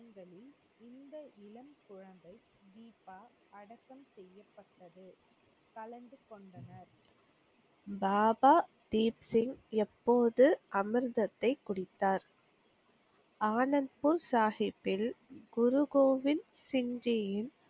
கலந்து கொண்டனர். பாபா தீப்சிங் எப்போது அமிர்தத்தைக் குடித்தார்? ஆனந்த்பூர் சாகிப்பில் குருகோவில் ஜிம்ஜியின்,